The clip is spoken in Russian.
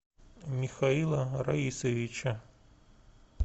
михаила раисовича